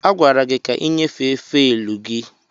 A gwara gị ka ị nyefee faịlụ gị!